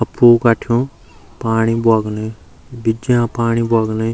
अप्पू काठ्युं पाणी बगुणु बिजा पाणी बोगणी।